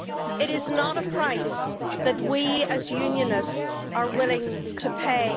It is not a price that we, as Unionists, are willing to pay.